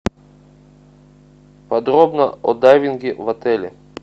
подробно о дайвинге в отеле